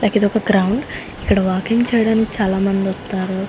ఇదొక గ్రౌండ్ ఇక్కడ వాకింగ్ చేయడానికి చాలామందొస్తారు.